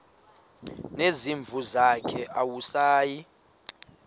nezimvu zakhe awusayi